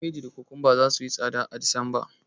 Kabeji da kokomba zasu yi tsada a Disemba.